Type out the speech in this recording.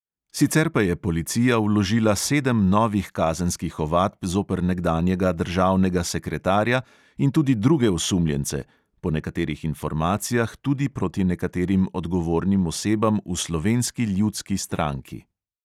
Sicer pa je policija vložila sedem novih kazenskih ovadb zoper nekdanjega državnega sekretarja in tudi druge osumljence (po nekaterih informacijah tudi proti nekaterim odgovornim osebam v slovenski ljudski stranki).